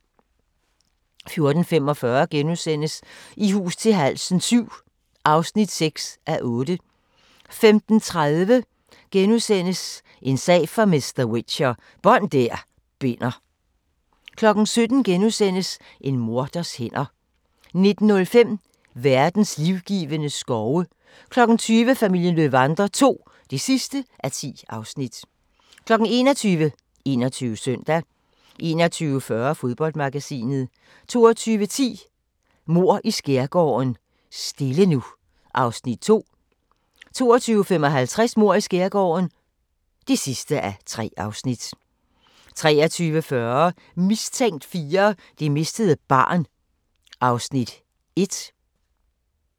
14:45: I hus til halsen VII (6:8)* 15:30: En sag for mr. Whicher: Bånd der binder * 17:00: En morders hænder * 19:05: Verdens livgivende skove 20:00: Familien Löwander II (10:10) 21:00: 21 Søndag 21:40: Fodboldmagasinet 22:10: Mord i Skærgården - stille nu (2:3) 22:55: Mord i Skærgården (3:3) 23:40: Mistænkt 4: Det mistede barn (Afs. 1)